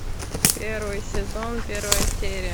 первый сезон первая серия